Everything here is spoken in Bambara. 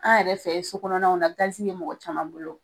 An yɛrɛ fɛ so kɔnɔnaw na gasi be mɔgɔ caman bolo.